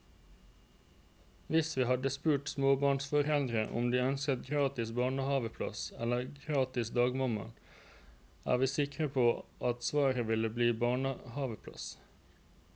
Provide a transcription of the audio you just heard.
Hvis vi hadde spurt småbarnsforeldre om de ønsker gratis barnehaveplass eller gratis dagmamma, er vi sikre på at svaret ville bli barnehaveplass.